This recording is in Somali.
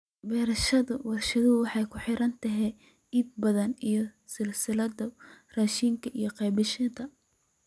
Beerashada warshaduhu waxay ku xiran tahay iibka badan ee silsiladaha raashinka iyo qaybiyeyaasha.